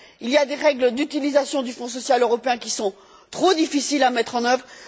Il y a des règles d'utilisation du Fonds social européen qui sont trop difficiles à mettre en œuvre.